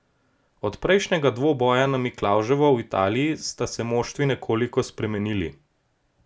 Od prejšnjega dvoboja na Miklavževo v Italiji sta se moštvi nekoliko spremenili.